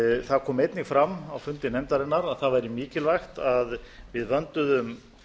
það kom einnig fram á fundi nefndarinnar að það væri mikilvægt að við vönduðum